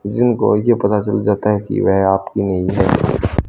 जिनको यह पता चल जाता है कि वे आपकी ।